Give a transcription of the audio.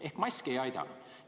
Ehk mask ei aidanud.